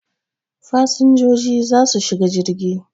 Fasinjiji za su shiga jirgi